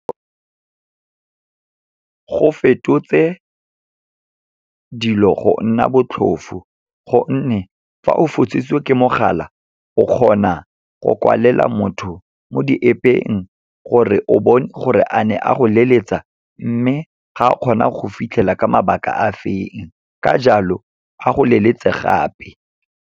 Go fetotse dilo go nna botlhofo, gonne fa o fositswe ke mogala o kgona go kwalela motho mo di-App-eng, gore o bone gore a ne a go leletsa, mme ga a kgona go go fitlhela ka mabaka a feng, ka jalo a go leletse gape.